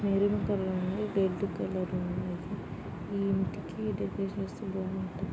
Maroon colour ఉంది. Red colour ఉన్నదీ. ఈ ఇంటికి డెకరేషన్ వేస్తే బాగుంటది.